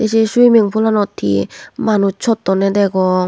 sey swiming poolanot he manus sottonne degong.